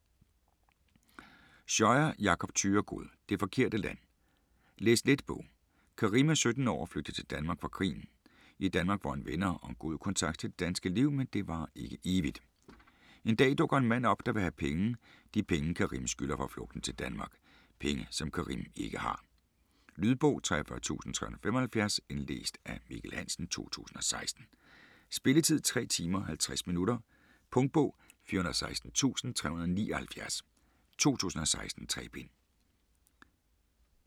Scheuer, Jakob Thyregod: Det forkerte land Læs-let bog. Karim er 17 år og flygtet til Danmark fra krigen. I Danmark får han venner og en god kontakt til det danske liv, men det varer ikke evigt. En dag dukker en mand op, der vil have penge - de penge Karim skylder for flugten til Danmark. Penge som Karim ikke har. Lydbog 43375 Indlæst af Mikkel Hansen, 2016. Spilletid: 3 timer, 50 minutter. Punktbog 416379 2016. 3 bind.